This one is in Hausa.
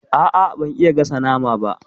A'a, ban iya gasa nama ba.